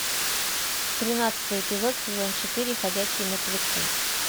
тринадцатый эпизод сезон четыре ходячие мертвецы